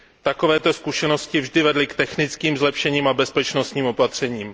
Takovéto zkušenosti vždy vedly k technickým zlepšením a bezpečnostním opatřením.